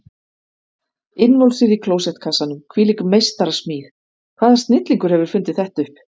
Innvolsið í klósettkassanum, hvílík meistarasmíð, hvaða snillingur hefur fundið þetta upp?